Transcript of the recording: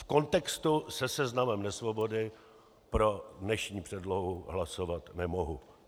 V kontextu se Seznamem nesvobody pro dnešní předlohu hlasovat nemohu.